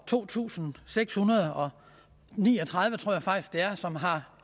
to tusind seks hundrede og ni og tredive som har